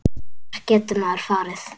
Hvert getur maður farið?